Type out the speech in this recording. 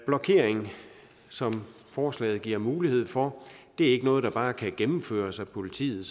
blokering som forslaget giver mulighed for er ikke noget der bare gennemføres af politiet